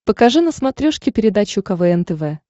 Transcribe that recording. покажи на смотрешке передачу квн тв